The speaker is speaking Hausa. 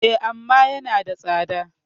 E, amma yanada tsada.